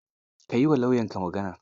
Ka yi wa lauyanka magana.